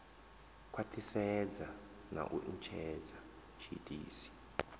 khwathisedzwa na u netshedza tshiitisi